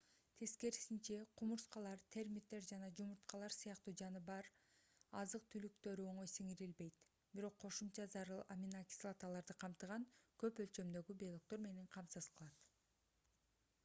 тескерисинче кумурскалар термиттер жанажумурткалар сыяктуу жаныбар азык-түлүктөрү оңой сиңирилбейт бирок кошумча зарыл аминокислоталарды камтыган көп өлчөмдөгү белоктор менен камсыз кылат